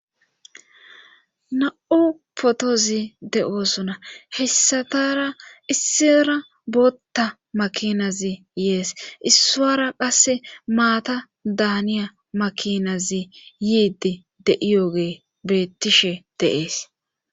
na7u potozi de7oosona hessatara issira bootta makinazi yees issuwara qasse maata daaniya makinazi yiidi de'iyogeyi bettishe de'ees